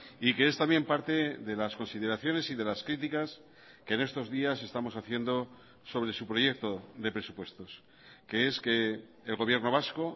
y que es también parte de las consideraciones y de las críticas que en estos días estamos haciendo sobre su proyecto de presupuestos que es que el gobierno vasco